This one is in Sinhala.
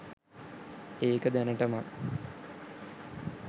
ඒක දැනටමත්